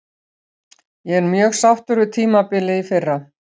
Ég er mjög sáttur við tímabilið í fyrra.